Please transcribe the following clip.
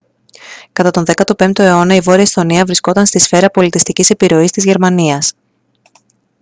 κατά τον 15ο αιώνα η βόρεια εσθονία βρισκόταν στη σφαίρα πολιτιστικής επιρροής της γερμανίας